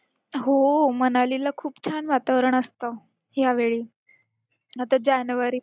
हो, मनालीला खूप छान वातावरण असतं ह्यावेळी. आता जानेवारीत